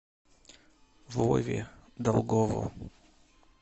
вове долгову